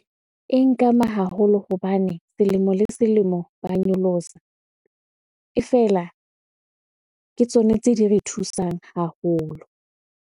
E nkama haholo hobane selemo le selemo ba nyolosa. E fela, ke tsone tse di re thusang haholo.